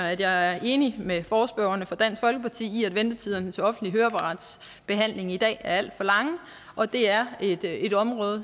at jeg er enig med forespørgerne fra dansk folkeparti i at ventetiderne til offentlig høreapparatsbehandling i dag er alt for lange og det er et et område